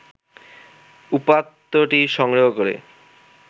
উপাত্তটি সংগ্রহ করে